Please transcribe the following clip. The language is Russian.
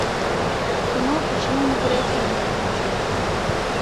кино почему мы креативны подключи